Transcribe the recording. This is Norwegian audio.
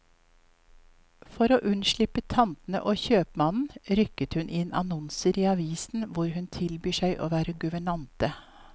For å unnslippe tantene og kjøpmannen, rykker hun inn annonser i avisen hvor hun tilbyr seg å være guvernante.